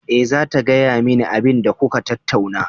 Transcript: Eh, zata gaya mani abinda kuka tattauna.